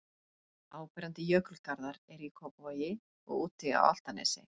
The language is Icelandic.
Áberandi jökulgarðar eru í Kópavogi og úti á Álftanesi.